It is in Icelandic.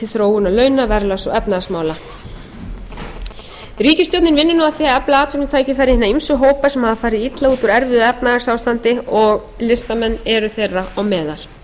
efnahagsmála ríkisstjórnin vinnur nú að því að efla atvinnutækifæri hinna eru hópa sem hafa farið illa úr úr erfiðu efnahagsástandi og listamenn eru þeirra á meðal til að bæta stöðu þeirra telur ríkisstjórnin brýnt að geta fjölgað þeim